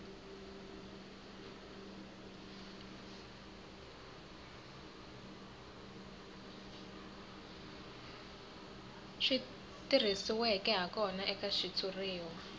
swi tirhisiweke hakona eka xitshuriwa